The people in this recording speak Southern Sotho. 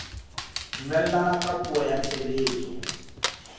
dumellana ka puo ya tshebetso